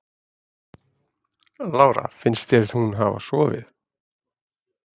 Lára: Finnst þér hún hafa sofið?